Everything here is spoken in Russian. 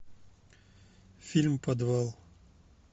фильм подвал